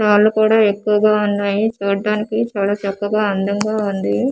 వాలు కూడా ఎక్కువగా ఉన్నాయి చూడ్డానికి చాలా చక్కగా అందంగా ఉంది.